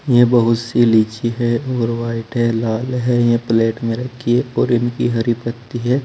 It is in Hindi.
ये बहुत सी लीची है और वाइट है लाल है ये प्लेट में रखी और इनकी हरी पत्ती है।